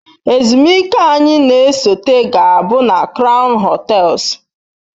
Ezumike anyị na-esote ga-abụ na kraun hotels